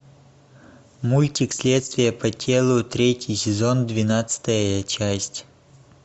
мультик следствие по телу третий сезон двенадцатая часть